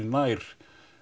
nær